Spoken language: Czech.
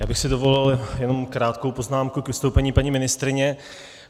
Já bych si dovolil jenom krátkou poznámku k vystoupení paní ministryně.